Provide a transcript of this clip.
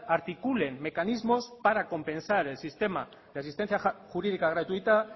articulen mecanismos para compensar el sistema de asistencia jurídica gratuita